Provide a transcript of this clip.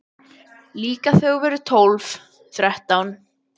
Líka þú þegar þú verður tólf, þrettán.